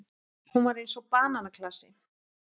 Hún var eins og bananaklasi.